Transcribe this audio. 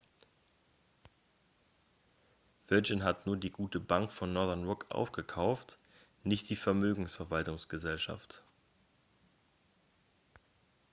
virgin hat nur die gute bank von northern rock aufgekauft nicht die vermögensverwaltungsgesellschaft